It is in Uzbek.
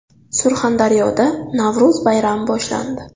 Surxondaryoda Navro‘z bayrami boshlandi .